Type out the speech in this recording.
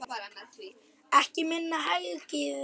Ekki minna hlegið.